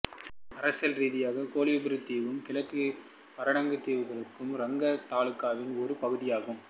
அரசியல் ரீதியாக கோலிபுரூக் தீவும் கிழக்கு பரட்டாங்கு தீவுக்குழுவும் ரங்கத் தாலுகாவின் ஒரு பகுதியாகும்